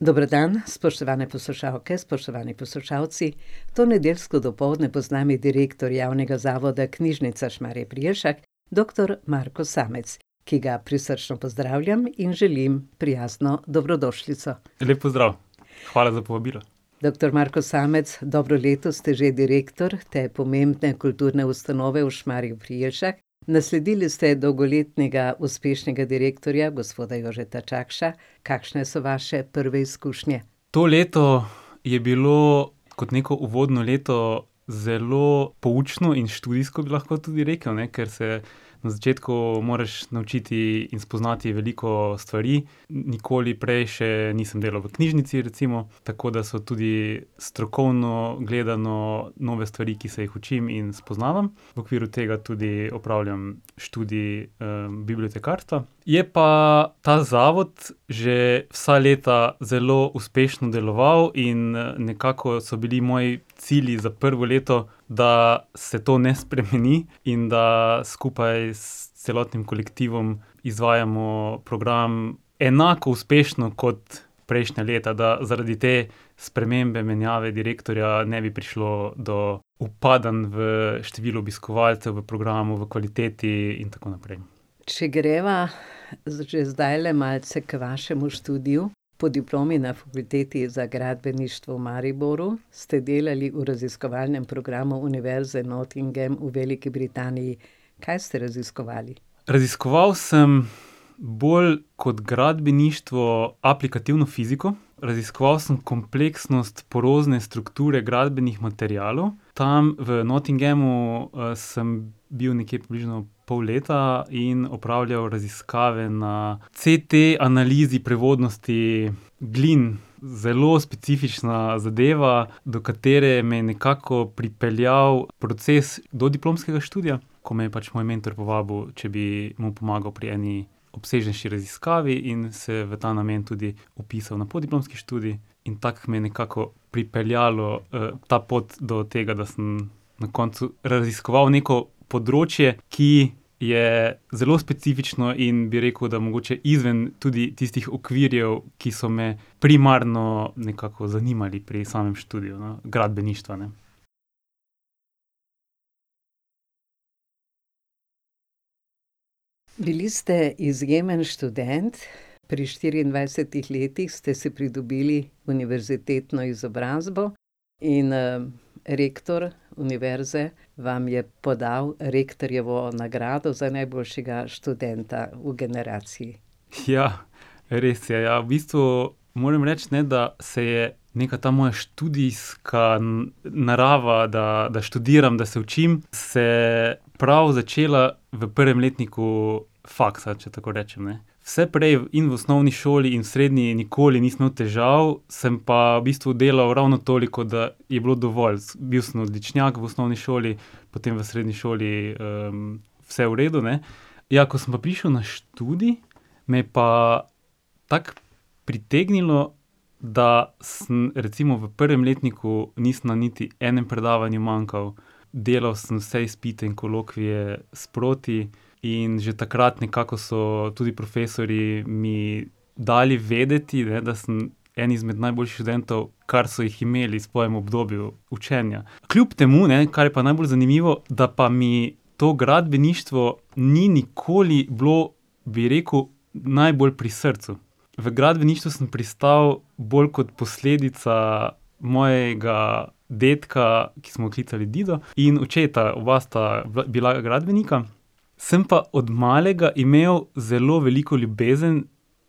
Dober dan, spoštovane poslušalke, spoštovani poslušalci, to nedeljsko dopoldne bo z nami direktor Javnega zavoda Knjižnica Šmarje pri Jelšah, doktor Marko Samec, ki ga prisrčno pozdravljam in želim prijazno dobrodošlico. En lep pozdrav. Hvala za povabilo. Doktor Marko Samec, dobro leto ste že direktor te pomembne kulturne ustanove v Šmarjah pri Jelšah. Nasledili ste dolgoletnega uspešnega direktorja gospoda Jožeta Čakša, kakšne so vaše prve izkušnje? To leto je bilo kot neko uvodno leto zelo poučno in študijsko, bi lahko tudi rekel, ne, ker se na začetku moraš naučiti in spoznati veliko stvari, nikoli prej še nisem delal v knjižnici, recimo, tako da so tudi strokovno gledano nove stvari, ki se jih učim in spoznavam. V okviru tega tudi opravljam študij, bibliotekarstva, je pa ta zavod že vsa leta zelo uspešno deloval in nekako so bili moji cilji za prvo leto, da se to ne spremeni in da skupaj s celotnim kolektivom izvajamo program enako uspešno kot prejšnja leta, da zaradi te spremembe, menjave direktorja, ne bi prišlo do upadanj v številu obiskovalcev, v programu, v kvaliteti in tako naprej. Če greva, če zdajle malce k vašemu študiju, po diplomi na Fakulteti za gradbeništvo v Mariboru ste delali v raziskovalnem programu Univerze Nottingham v Veliki Britaniji. Kaj ste raziskovali? Raziskoval sem bolj kot gradbeništvo aplikativno fiziko, raziskoval sem kompleksnost porozne strukture gradbenih materialov. Tam v Nottinghamu, sem bil nekje približno pol leta in opravljal raziskave na CT-analizi prevodnosti glin. Zelo specifična zadeva, do katere me je nekako pripeljal proces dodiplomskega študija, ko me je pač moj mentor povabil, če bi mu pomagal pri eni obsežnejši raziskavi in se v ta namen tudi vpisal na podiplomski študij. In tako me je nekako pripeljalo, ta pot do tega, da sem na koncu raziskoval neko področje, ki je zelo specifično, in bi rekel, da mogoče izven tudi tistih okvirjev, ki so me primarno nekako zanimali pri samem študiju, no, gradbeništva, ne. Bili ste izjemen študent, pri štiriindvajsetih letih ste si pridobili univerzitetno izobrazbo in, rektor univerze vam je podal rektorjevo nagrado za najboljšega študenta v generaciji. Res je, ja, v bistvu moram reči, ne, da se je neka ta moja študijska narava, da, da študiram, da se učim, se prav začela v prvem letniku faksa, če tako rečem, ne. Vse prej, in v osnovni šoli in v srednji, nikoli nisem imel težav, sem pa v bistvu delal ravno toliko, da je bilo dovolj. bil sem odličnjak v osnovni šoli, potem v srednji šoli, vse v redu, ne. Ja, ko sem pa prišel na študij, me je pa tako pritegnilo, da sem recimo v prvem letniku nisem na niti enem predavanju manjkal, delal sem vse izpite in kolokvije sproti in že takrat nekako so tudi profesorji mi dali vedeti, ne, da sem en izmed najboljših študentov, kar so jih imeli v svojem obdobju učenja. Kljub temu, ne, kar je pa najbolj zanimivo, da pa mi to gradbeništvo ni nikoli bilo, bi rekel, najbolj pri srcu. V gradbeništvo sem pristal bolj kot posledica mojega dedka, ki smo ga klicali dido, in očeta, oba sta bila, bila gradbenika. Sem pa od malega imel zelo veliko ljubezen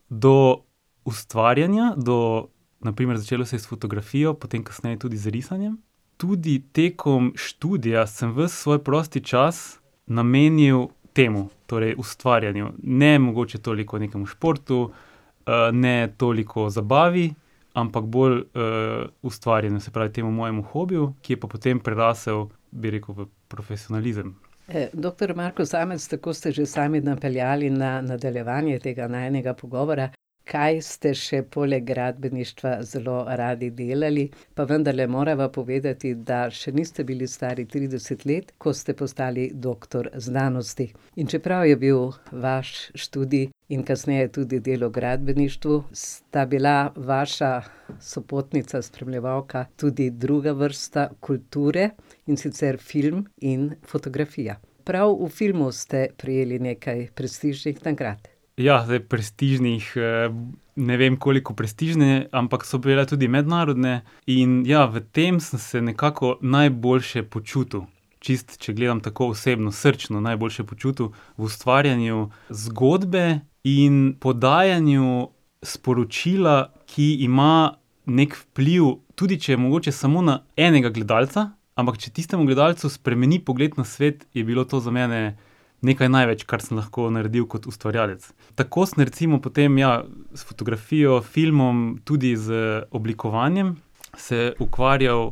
do ustvarjanja, do ... Na primer, začelo se je s fotografijo, potem kasneje tudi z risanjem, tudi tekom študija sem ves svoj prosti čas namenil temu. Torej ustvarjanju, ne mogoče toliko nekemu športu, ne toliko zabavi, ampak bolj, ustvarjanju, se pravi temu mojemu hobiju, ki je pa potem prerasel, bi rekel, v profesionalizem. doktor Marko Samec, tako ste že sami napeljali na nadaljevanje tega najinega pogovora, kaj ste še poleg gradbeništva zelo radi delali, pa vendarle morava povedati, da še niste bili stari trideset let, ko ste postali doktor znanosti. In čeprav je bil vaš študij in kasneje tudi delo v gradbeništvu, sta bila vaša sopotnica, spremljevalka tudi druga vrsta kulture, in sicer film in fotografija. Prav v filmu ste prejeli nekaj prestižnih nagrad. Ja, zdaj prestižnih, ne vem, koliko prestižne, ampak so bile tudi mednarodne. In ja, v tem sem se nekako najboljše počutil, čisto, če gledam tako osebno, srčno, najboljše počutil. V ustvarjanju zgodbe in podajanju sporočila, ki ima neki vpliv, tudi če je mogoče samo na enega gledalca, ampak če tistemu gledalcu spremeni pogled na svet, je bilo to za mene nekaj največ, kar sem lahko naredil kot ustvarjalec. Tako sem recimo potem, ja, s fotografijo, filmom, tudi z oblikovanjem se ukvarjal,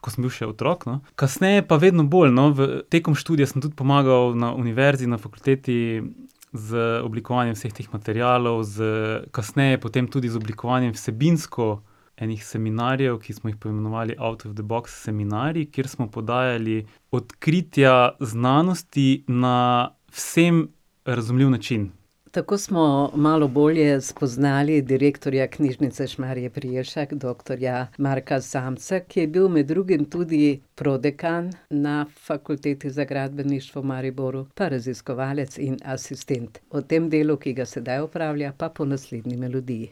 ko sem bil še otrok, no. Kasneje pa vedno bolj, no, v, tekom študija sem tudi pomagal na Univerzi, na fakulteti, z oblikovanjem vseh teh materialov, z, kasneje potem tudi z oblikovanjem vsebinsko ene seminarjev, ki smo jih poimenovali Out of the box seminarji, kjer smo podajali odkritja znanosti na vsem razumljiv način. Tako smo malo bolje spoznali direktorja Knjižnice Šmarje pri Jelšah, doktorja Marka Samca, ki je bil med drugim tudi prodekan na Fakulteti za gradbeništvo v Mariboru pa raziskovalec in asistent. O tem delu, ki ga sedaj opravlja, pa po naslednji melodiji.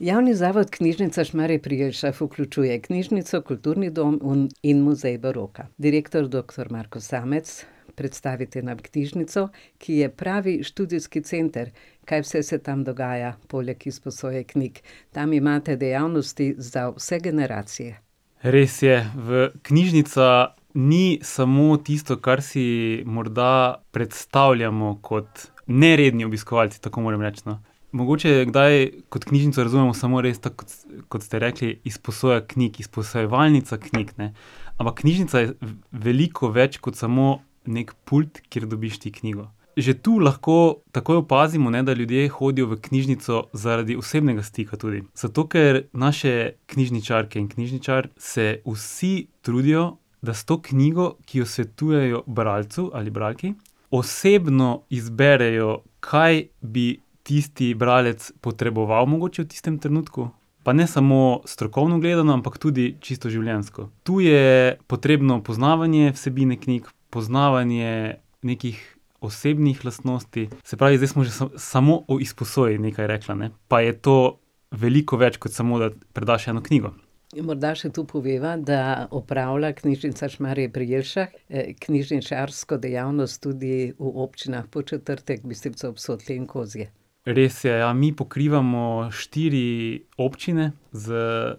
Javni zavod Knjižnica Šmarje pri Jelšah vključuje knjižnico, kulturni dom, in muzej baroka. Direktor doktor Marko Samec, predstavite nam knjižnico, ki je pravi študijski center. Kaj vse se tam dogaja poleg izposoje knjig? Tam imate dejavnosti za vse generacije. Res je, v, knjižnica ni samo tisto, kar si morda predstavljamo kot neredni obiskovalci, tako moram reči, no. Mogoče kdaj kot knjižnico razumemo res tako kot kot ste rekli, izposoja knjig, izposojevalnica knjig, ne. Ampak knjižnica je veliko več kot samo neki pult, kjer dobiš ti knjigo. Že tu lahko takoj opazimo, ne, da ljudje hodijo v knjižnico zaradi osebnega stika tudi. Zato ker naše knjižničarke in knjižničar se vsi trudijo, da s to knjigo, ki jo svetujejo bralcu ali bralki, osebno izberejo, kaj bi tisti bralec potreboval mogoče v tistem trenutku, pa ne samo strokovno gledano, ampak tudi čisto življenjsko. Tu je potrebno poznavanje vsebine knjig, poznavanje nekih osebnih lastnosti. Se pravi, zdaj sva že samo o izposoji nekaj rekla, ne. Pa je to veliko več kot samo, da predaš eno knjigo. In morda še to poveva, da opravlja Knjižnica Šmarje pri Jelšah, knjižničarsko dejavnost tudi v občinah Podčetrtek, Bistrica ob Sotli in Kozje. Res je, ja, mi pokrivamo štiri občine, z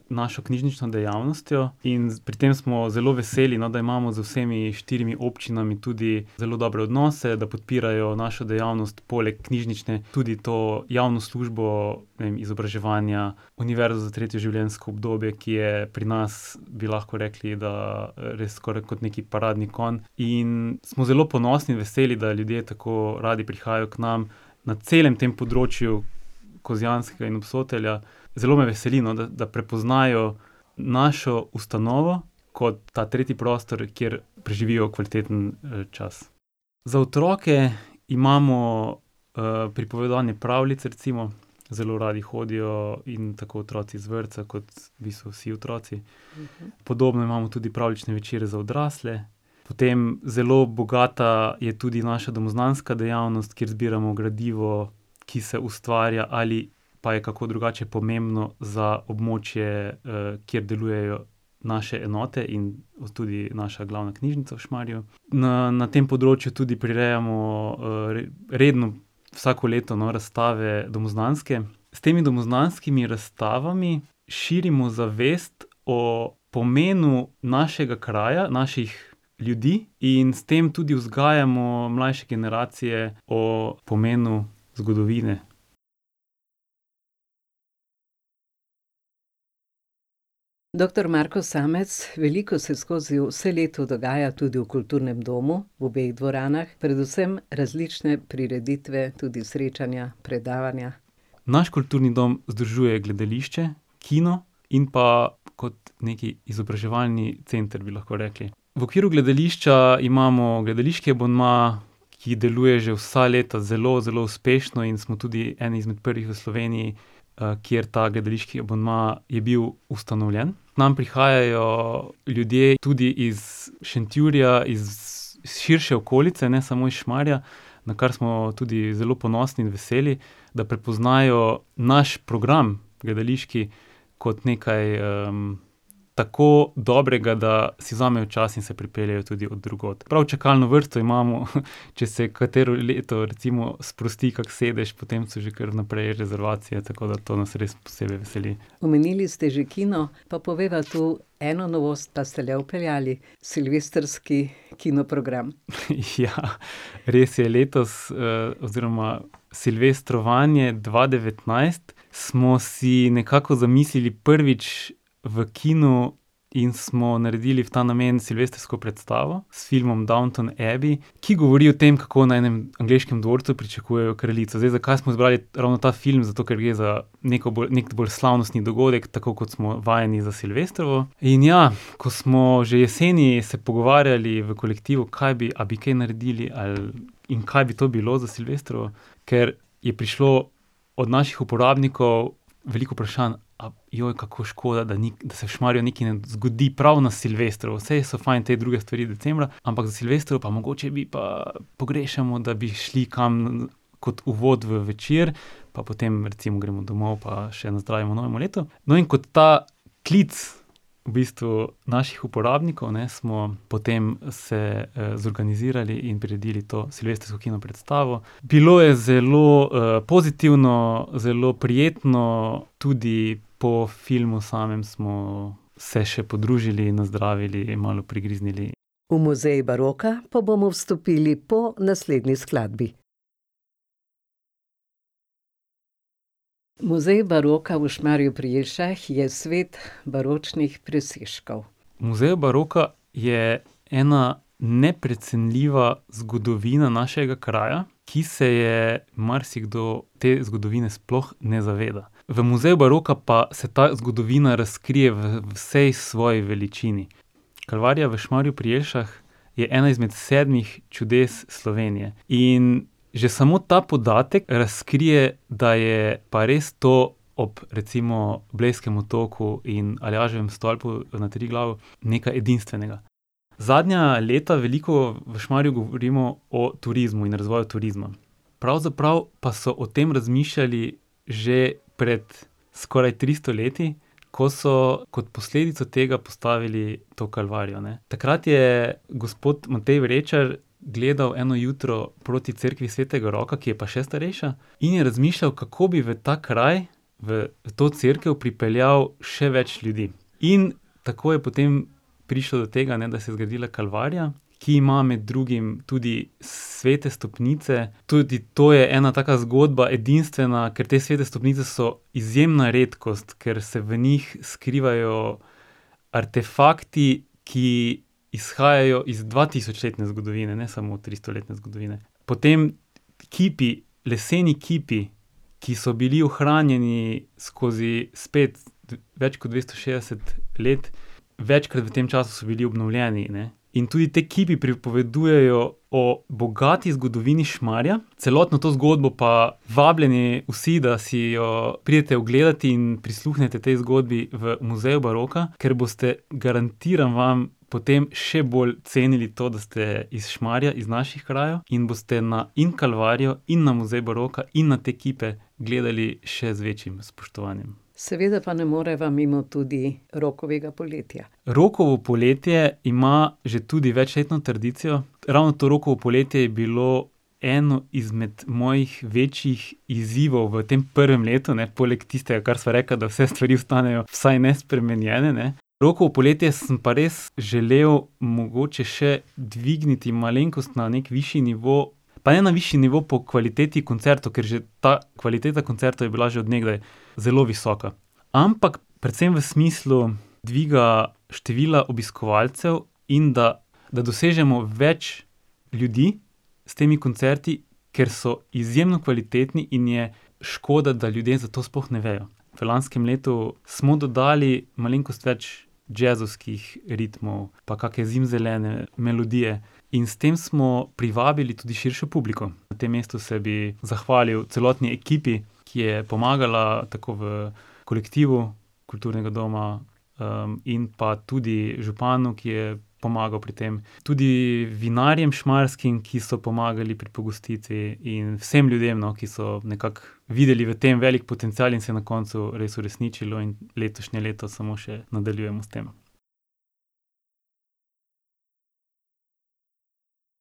našo knjižnično dejavnostjo in pri tem smo zelo veseli, no, da imamo z vsemi štirimi občinami tudi zelo dobre odnose, da podpirajo našo dejavnost, poleg knjižnične tudi to javno službo, ne vem, izobraževanja, univerza za tretje življenjsko obdobje, ki je pri nas, bi lahko rekli, da, res skoraj kot neki paradni konj, in smo zelo ponosni, veseli, da ljudje tako radi prihajajo k nam na celem tem področju Kozjanskega in Obsotelja. Zelo me veseli, no, da, da prepoznajo našo ustanovo, kot ta tretji prostor, kjer preživijo kvaliteten, čas. Za otroke imamo, pripovedovanje pravljic, recimo, zelo radi hodijo, in tako otroci z vrtca kot v bistvu vsi otroci. Podobno imamo tudi pravljične večere za odrasle, potem zelo bogata je tudi naša domoznanska dejavnost, kjer zbiramo gradivo, ki se ustvarja ali pa je kako drugačno pomembno za območje, kjer delujejo naše enote in tudi naša glavna knjižnica v Šmarjah. Na, na tem področju tudi prirejamo, redno, vsako leto, no, razstave domoznanske. S temi domoznanskimi razstavami širimo zavest o pomenu našega kraja, naših ljudi in s tem tudi vzgajamo mlajše generacije o pomenu zgodovine. Doktor Marko Samec, veliko se skozi vse leto dogaja tudi v kulturnem domu, v obeh dvoranah, predvsem različne prireditve, tudi srečanja, predavanja. Naš kulturni dom združuje gledališče, kino in pa kot neki izobraževalni center, bi lahko rekli. V okviru gledališča imamo gledališki abonma, ki deluje že vsa leta zelo, zelo uspešno, in smo tudi eni izmed prvih v Sloveniji, kjer ta gledališki abonma je bil ustanovljen. K nam prihajajo ljudje tudi iz Šentjurja, iz širše okolice, ne samo iz Šmarja, na kar smo tudi zelo ponosni in veseli, da prepoznajo naš program, gledališki kot nekaj, tako dobrega, da si vzamejo čas in se pripeljejo tudi od drugod. Prav čakalno vrsto imamo, če se katero leto recimo sprosti kako sedež, potem so že kar vnaprej rezervacije, tako da to nas res posebej veseli. Omenili ste že kino. Pa povejva tu, eno novost pa ste le vpeljali. Silvestrski kinoprogram. res je, letos, oziroma silvestrovanje dva devetnajst smo si nekako zamislili prvič v kinu in smo naredili v ta namen silvestrsko predstavo s filmom Downton Abbey, ki govorimo o tem, kako na enem angleškem dvorcu pričakujejo kraljico. Zdaj, zakaj smo zbrali ravno ta film? Zato ker gre za neko bolj, neki bolj slavnostni dogodek, tako kot smo vajeni za silvestrovo. In ja, ko smo že jeseni se pogovarjali v kolektivu, kaj bi, a bi kaj naredili ali, in kaj bi to bilo za silvestrovo, ker je prišlo od naših uporabnikov veliko vprašanj. A, kako škoda, da da se v Šmarju nekaj ne zgodi prav na silvestrovo, saj so fajn te druge stvari decembra, ampak za silvestrovo pa mogoče bi pa, pogrešamo, da bi šli kam kot uvod v večer, pa potem recimo gremo domov pa še nazdravimo novemu letu. No, in kot ta klic v bistvu naših uporabnikov, ne, smo potem se, zorganizirali in priredili to silvestrsko kinopredstavo. Bilo je zelo, pozitivno, zelo prijetno, tudi po filmu samem smo se še podružili in nazdravili in malo prigriznili. V muzej baroka pa bomo vstopili po naslednji skladbi. Muzej baroka v Šmarju pri Jelšah je svet baročnih presežkov. V muzeju baroka je ena neprecenljiva zgodovina našega kraja, ki se je marsikdo, te zgodovine, sploh ne zaveda. V muzeju baroka pa se ta zgodovina razkrije v vsej svoji veličini. Kalvarija v Šmarju pri Jelšah je ena izmed sedmih čudes Slovenije. In že samo ta podatek razkrije, da je pa res to ob recimo Blejskem otoku in Aljaževem stolpu na Triglavu nekaj edinstvenega. Zadnja leta veliko v Šmarju govorimo o turizmu in razvoju turizma. Pravzaprav pa so o tem razmišljali že pred skoraj tristo leti, ko so kot posledico tega postavili to Kalvarijo, ne. Takrat je gospod Matej Vrečar gledal eno jutro proti cerkvi svetega Roka, ki je pa še starejša, in je razmišljal, kako bi v ta kraj, v to cerkev pripeljal še več ljudi. In tako je potem prišel do tega, ne, da se je zgodila Kalvarija, ki ima med drugim tudi svete stopnice, tudi to je ena taka zgodba edinstvena, ker te svete stopnice so izjemna redkost, ker se v njih skrivajo artefakti, ki izhajajo iz dvatisočletne zgodovine, ne samo tristoletne zgodovine. Potem kipi, leseni kipi, ki so bili ohranjeni skozi spet več kot dvesto šest let, večkrat v tem času so bili obnovljeni, ne. In tudi ti kipi pripovedujejo o bogati zgodovini Šmarja, celotno to zgodbo pa vabljeni vsi, da si jo pridete ogledat in prisluhnete tej zgodbi v muzeju baroka, ker boste, garantiram vam, potem še bolj cenili to, da ste iz Šmarja, iz naših krajev, in boste na in Kalvarijo in na muzej baroka in na te kipe gledali še z večjim spoštovanjem. Seveda pa ne moreva mimo tudi Rokovega poletja. Rokovo poletje ima že tudi večletno tradicijo, ravno to Rokovo poletje je bilo eno izmed mojih večjih izzivov v tem prvem letu, ne, poleg tistega, kar sva rekla, da vse stvari ostanejo vsaj nespremenjene, ne. Rokovo poletje sem pa res želel mogoče še dvigniti malenkost na neki višji nivo, pa ne na višji nivo po kvaliteti koncertov, ker je že, ta kvaliteta koncertov je bila že od nekdaj zelo visoka. Ampak predvsem v smislu dviga števila obiskovalcev in da, da dosežemo več ljudi s temi koncerti, ker so izjemno kvalitetni in je škoda, da ljudje za to sploh ne vejo. V lanskem letu smo dodali malenkost več džezovskih ritmov, pa kakšne zimzelene melodije. In s tem smo privabili tudi širšo publiko. Na tem mestu se bi zahvalil celotni ekipi, ki je pomagala tako v kolektivu kulturnega doma, in pa tudi županu, ki je pomagal pri tem. Tudi vinarjem šmarskim, ki so pomagali pri pogostitvi, in vsem ljudem, no, ki so nekako videli v tem velik potencial in se je na koncu res uresničilo in letošnje leto samo še nadaljujemo s tem.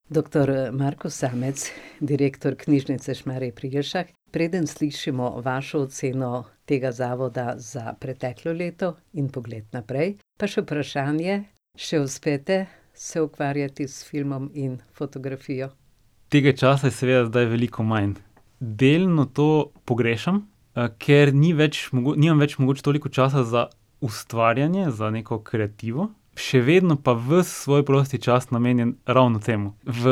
Doktor, Marko Samec, direktor Knjižnice Šmarje pri Jelšah, preden slišimo vašo oceno tega zavoda za preteklo leto in pogled naprej, pa še vprašanje: "Še uspete se ukvarjati s filmom in fotografijo?" Tega časa je seveda zdaj veliko manj. Delno to pogrešam, ker ni več nimam več mogoče toliko časa za ustvarjanje, za neko kreativo, še vedno pa ves svoj prosti čas namenim ravno temu. V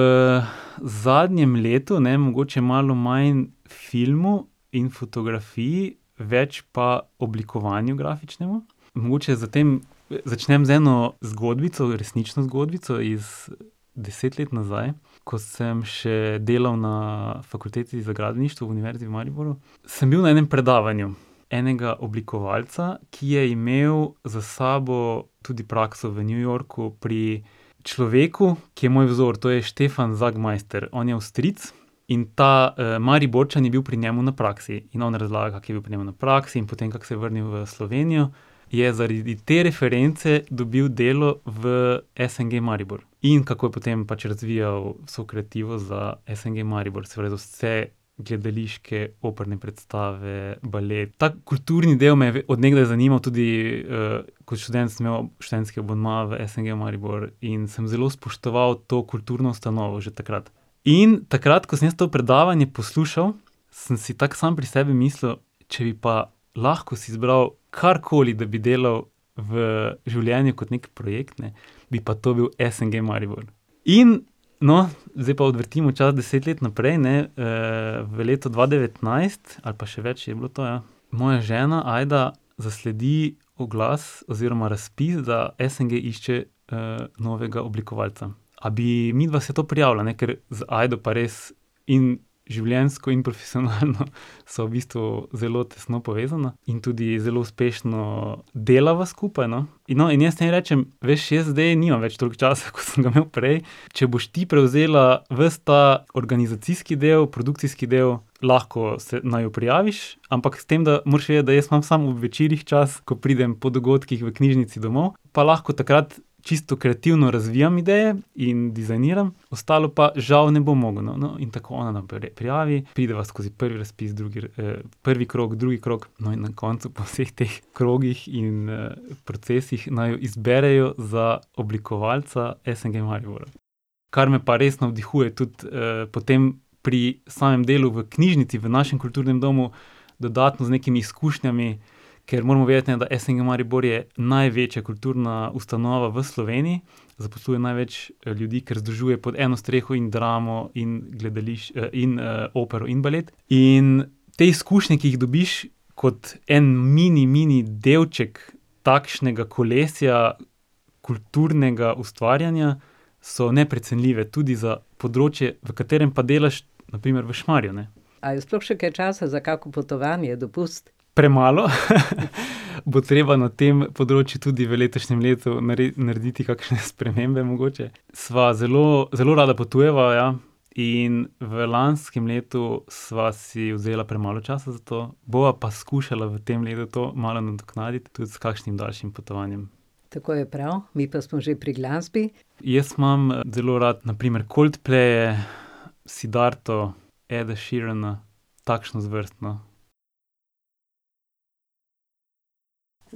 zadnjem letu, ne, mogoče malo manj filmu in fotografiji, več pa oblikovanju grafičnemu. Mogoče za tem, začnem z eno zgodbico, resnično zgodbico iz deset let nazaj, ko sem še delal na Fakulteti za gradbeništvo, v Univerzi v Mariboru, sem bil na enem predavanju enega oblikovalca, ki je imel za sabo tudi prakso v New Yorku pri človeku, ki je moj vzor. To je Stefan Sagmeister, on je Avstrijec, in ta, Mariborčan je bil pri njem na praksi. In on razlaga, ki je bil pri njem na praksi, in potem kako se je vrnil v Slovenijo, je zaradi te reference dobil delo v SNG Maribor. In kako je potem pač razvijal vso kreativo za SNG Maribor, se pravi za vse gledališke, operne predstave, balet ... Ta kulturni del me je od nekdaj zanimal, tudi, kot študent sem imel študentski abonma v SNG Maribor in sem zelo spoštoval to kulturno ustanovo že takrat. In takrat, ko sem jaz to predavanje poslušal, sem si tako sam pri sebi mislil, če bi pa lahko si izbral karkoli, da bi delal, v življenju kot neki projekt, ne, bi pa to bil SNG Maribor. In, no, zdaj pa odvrtimo čas deset let naprej, ne, v letu dva devetnajst, ali pa še več je bilo to, ja, moja žena, Ajda, zasledi oglas oziroma razpis, da SNG išče, novega oblikovalca. A bi midva se to prijavila, ne, kar z Ajdo pa res in življenjsko in profesionalno sva v bistvu zelo tesno povezana in tudi zelo uspešno delava skupaj, no. In no, in jaz njej rečem: "Veš, jaz zdaj nimam več toliko časa, kot sem ga imel prej, če boš ti prevzela ves ta organizacijski del, produkcijski del, lahko se, naju prijaviš. Ampak s tem, da moraš vedeti, da jaz imam samo ob večerih čas, ko pridem po dogodkih v knjižnici domov, pa lahko takrat čisto kreativno razvijam ideje, in dizajniram, ostalo pa žal ne bom mogel." No, no, in tako ona naprej prijavi, prideva skozi prvi razpis, drugi prvi krog, drugi krog, no, in na koncu po vseh teh krogih in, procesih naju izberejo za oblikovalca SNG Maribor. Kar me pa res navdihuje tudi, potem, pri samem delu v knjižnici, v našem kulturnem domu, dodatno z nekimi izkušnjami, ker moramo vedeti, ne, da SNG Maribor je največja kulturna ustanova v Sloveniji, zaposluje največ, ljudi, ker združuje pod eno streho in dramo in in, opero in balet. In te izkušnje, ki jih dobiš, kot en mini, mini delček takega kolesja kulturnega ustvarjanja, so neprecenljive, tudi za področje, v katerem pa delaš na primer v Šmarju, ne. A je sploh še kaj časa za kako potovanje, dopust? Premalo . Bo treba na tem področju tudi v letošnjem letu narediti kakšne spremembe mogoče sva zelo, zelo rada potujeva, ja. In v lanskem letu sva si vzela premalo časa za to, bova pa skušala v tem letu to malo nadoknaditi tudi s kakšnim daljšim potovanjem. Tako je prav, mi pa smo že pri glasbi. Jaz imam, zelo rad na primer Coldplaye, Siddharto, Eda Sheerana, takšno zvrst, no.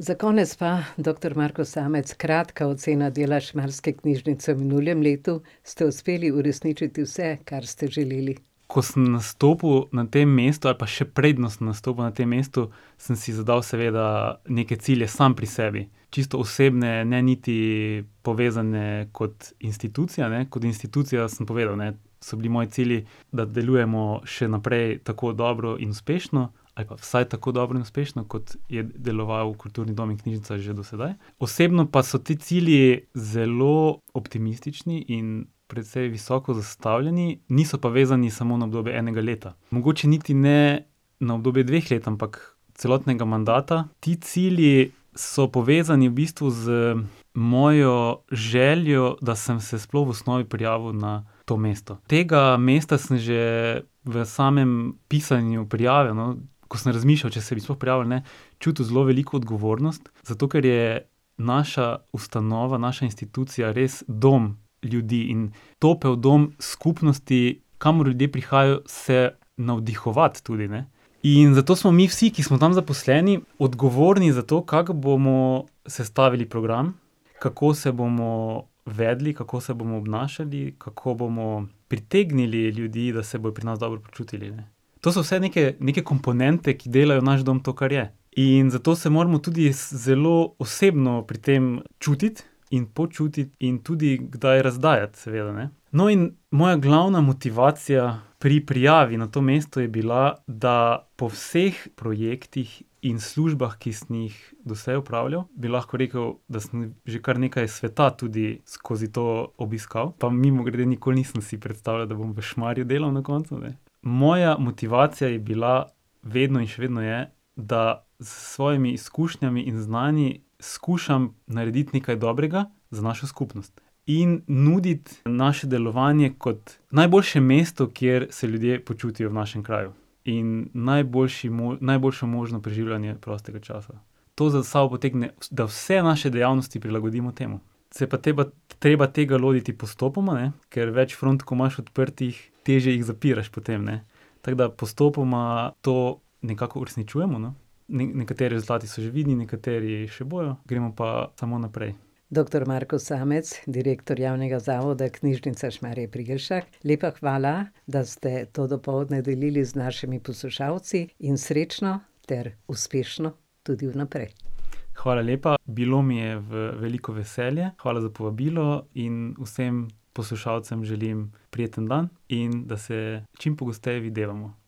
Za konec pa, doktor Marko Samec, kratka ocena dela šmarske knjižnice v minulem letu. Ste uspeli uresničiti vse, kar ste želeli? Ko sem nastopil na tem mestu, ali pa še preden sem nastopil na tem mestu, sem si zadal seveda neke cilje sam pri sebi. Čisto osebne, ne niti povezane kot institucija, ne, kot institucija sem povedal, ne, so bili moji cilji, da delujemo še naprej tako dobro in uspešno ali pa vsaj tako dobro in uspešno, kot je deloval kulturni dom in knjižnica že do sedaj. Osebno pa so ti cilji zelo optimistični in precej visoko zastavljeni. Niso pa vezani samo na obdobje enega leta. Mogoče niti ne na obdobje dveh let, ampak celotnega mandata. Ti cilji so povezani v bistvu z mojo željo, da sem se sploh v osnovi prijavil na to mesto. Tega mesta sem že v samem pisanju prijave, no, ko sem razmišljal, če se bi sploh prijavil ali ne, čutil zelo veliko odgovornost, zato ker je naša ustanova, naša institucija res dom ljudi in topel dom skupnosti, kamor ljudje prihajajo se navdihovat tudi, ne. In zato smo mi vsi, ki smo tam zaposleni, odgovorni za to, kako bomo sestavili program, kako se bomo vedli, kako se bomo obnašali, kako bomo pritegnili ljudi, da se bodo pri nas dobro počutili, ne. To so vse neke, neke komponente, ki delajo naš dom to, kar je. In zato se moramo tudi zelo osebno pri tem čutiti in počutiti in tudi kdaj razdajati, seveda, ne. No, in moja glavna motivacija pri prijavi na to mesto je bila, da po vseh projektih in službah, ki sem jih doslej opravljal, bi lahko rekel, da sem že kar nekaj sveta tudi skozi to obiskal, pa mimogrede, nikoli nisem si predstavljal, da bom v Šmarju delal na koncu, ne, moja motivacija je bila, vedno in še vedno je, da s svojimi izkušnjami in znanji skušam narediti nekaj dobrega za našo skupnost. In nuditi naše delovanje kot najboljše mesto, kjer se ljudje počutijo v našem kraju. In najboljši najboljše možno preživljanje prostega časa. To za sabo potegne, da vse naše dejavnosti prilagodimo temu. Se je pa treba tega lotiti postopoma, ne, ker več front, ko imaš odprtih, težje jih zapiraš potem, ne. Tako da postopoma to nekako uresničujemo, no, nekateri rezultati so že vidni, nekateri še bojo, gremo pa samo naprej. Doktor Marko Samec, direktor Javnega zavoda Knjižnica Šmarje pri Jelšah, lepa hvala, da ste to dopoldne delili z našimi poslušalci, in srečno ter uspešno tudi vnaprej. Hvala lepa, bilo mi je v veliko veselje, hvala za povabilo in vsem poslušalcem želim prijeten dan in da se čim pogosteje videvamo.